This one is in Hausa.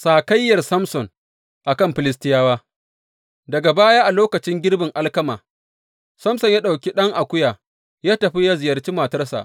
Sakayyar Samson a kan Filistiyawa Daga baya, a lokacin girbin alkama, Samson ya ɗauki ɗan akuya ya tafi yă ziyarci matarsa.